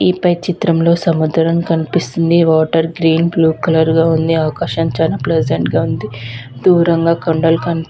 ఈ పై చిత్రంలో సముద్రం కనిపిస్తుంది వాటర్ క్లీన్ బ్లూ కలర్ లో వుంది ఆకాశం క్లోజ్ ఎండ్ గా ఉంది దూరంగా కొండలు కాని --